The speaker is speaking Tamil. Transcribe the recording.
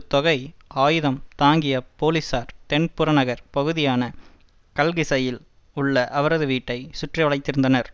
தொகை ஆயுதம் தாங்கிய போலிசார் தென் புறநகர் பகுதியான கல்கிசையில் உள்ள அவரது வீட்டை சுற்றிவளைத்திருந்தனர்